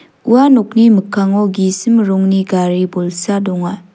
ua nokni mikkango gisim rongni gari bolsa donga.